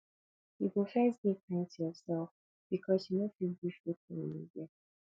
you go first de kind to yourself because you no fit give wetin you no get